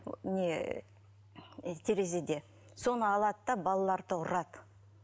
ыыы не терезеде соны алады да балаларды ұрады